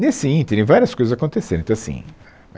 Nesse ínterim, várias coisas aconteceram. Então assim,